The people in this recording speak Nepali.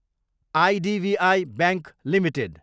IDBI bank Ltd